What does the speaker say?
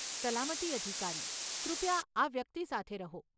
સલામતી અધિકારી, કૃપયા આ વ્યક્તિ સાથે રહો.